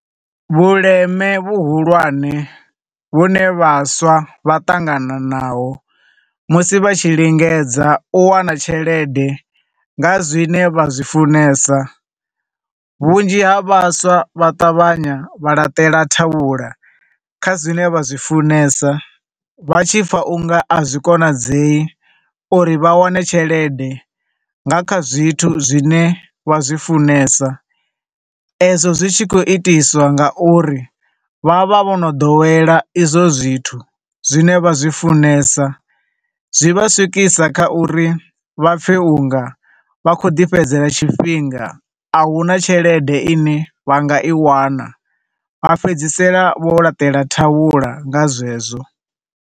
Vhuleme vhuhulwane vhune vhaswa vhaṱangana na ho musi vha tshi lingedza u wana tshelede nga zwine vha zwi funesa, vhunzhi ha vhaswa vha ṱavhanya vha laṱela thavhula kha zwine vha zwi funesa, vha tshi pfa u nga a zwikonadzei uri vha wane tshelede nga kha zwithu zwine vha zwifunesa, e zwo zwi tshi khou itiswa nga uri, vha vha vho no ḓowela izwo zwithu, zwine vha zwi funesa. Zwi vha swikisa kha uri vha pfe unga vha khou ḓi fhedzela tshifhinga, ahuna tshelede ine vha nga i wana, vha fhedzisela vho laṱela thavhula nga zwezwo.